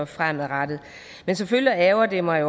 fremadrettet men selvfølgelig ærgrer jeg mig